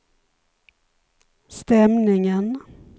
stämningen